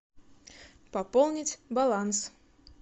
пополнить баланс